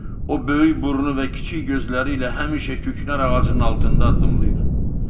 O böyük burnu və kiçik gözləri ilə həmişə küknar ağacının altında addımlayır.